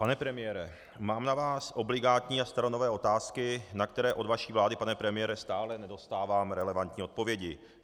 Pane premiére, mám na vás obligátní a staronové otázky, na které od vaší vlády, pane premiére, stále nedostávám relevantní odpovědi.